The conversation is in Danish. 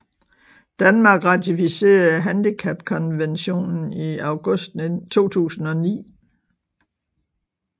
Danmark ratificerede handicapkonventionen i august 2009